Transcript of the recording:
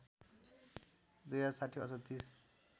२०६० असोज ३०